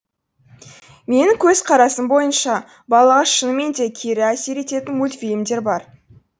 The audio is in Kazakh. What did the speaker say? менің көзқарасым бойынша балаға шынымен де кері әсер ететін мультфильмдер бар